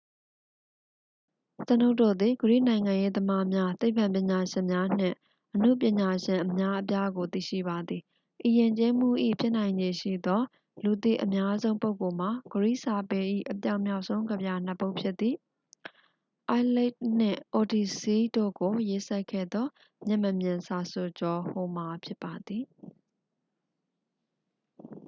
ကျွန်ုပ်တို့သည် ဂရိနိုင်ငံရေးသမားများ သိပ္ပံပညာရှင်များ နှင့် အနုပညာရှင်အများအပြားကို သိရှိပါသည် ဤယဉ်ကျေးမှု၏ ဖြစ်နိုင်ခြေရှိသော လူသိအများဆုံးပုဂ္ဂိုလ်မှာ ဂရိစာပေ၏ အပြောင်မြောက်ဆုံးကဗျာနှစ် ပုဒ်ဖြစ်သည့် iliad နှင့် odyssey တို့ကိုရေးစပ်ခဲ့သော မျက်မမြင်စာဆိုကျော် homer ဖြစ်ပါသည်